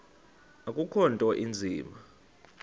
akukho nto inzima